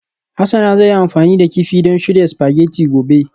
Hasana zai yi amfani da kifi don shirya spaghetti gobe